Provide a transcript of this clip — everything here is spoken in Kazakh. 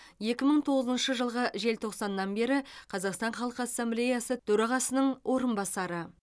екі мың тоғызыншы жылғы желтоқсаннан бері қазақстан халқы ассамблеясы төрағасының орынбасары